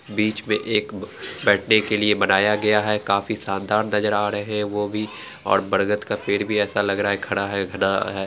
बीच मैं एक बेठने के लिए बनाया गया है काफी शानदार नजर आ रहा है वो भी और बरगद का पेड़ भी ऐसा लग रहा हैखड़ा है घना --